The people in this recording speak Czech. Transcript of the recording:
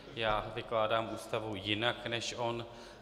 Já vykládám Ústavu jinak než on.